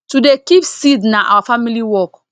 to dey keep seed na our family work